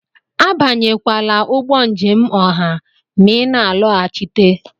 Abanyekwala ụgbọ njem ọha ma ị na-alọghachite!